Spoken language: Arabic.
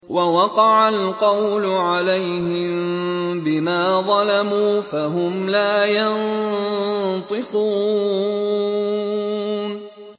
وَوَقَعَ الْقَوْلُ عَلَيْهِم بِمَا ظَلَمُوا فَهُمْ لَا يَنطِقُونَ